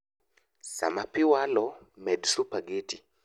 Saa ma pii walo, med supageti